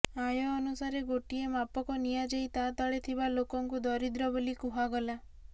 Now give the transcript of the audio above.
ଆୟ ଅନୁସାରେ ଗୋଟିଏ ମାପକ ନିଆଯାଇ ତା ତଳେ ଥିବା ଲୋକଙ୍କୁ ଦରିଦ୍ର ବୋଲି କୁହାଗଲା